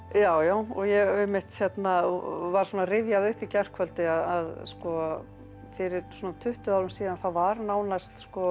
já já og ég einmitt var svona að rifja það upp í gærkvöldi að fyrir svona tuttugu árum síðan að þá var nánast